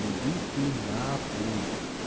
ебись ты нахуй